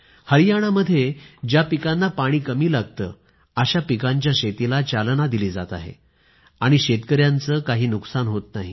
हरियाणामध्ये ज्या पिकांना पाणी कमी लागतं अशा पिकांच्या शेतीला चालना दिली जात आहे आणि शेतकऱ्यांचं काही नुकसान होत नाही